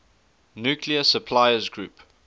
nuclear suppliers group